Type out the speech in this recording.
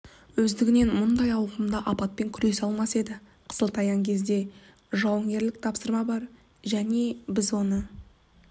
өздігінен мұндай ауқымды апатпен күресе алмас еді қысылтаяң кезде жауынгерлік тапсырма бар және біз оны